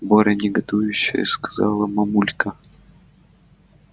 боря негодующе сказала мамулька